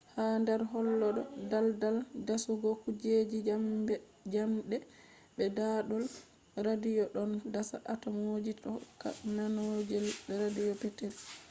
ha nder hollo ɗo daldal dasugo kujeji njamɗe be ɗaɗol radiyo ɗon dasa atomji hokka mandolji radiyo petetel